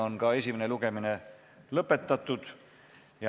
Esimene lugemine on lõpetatud.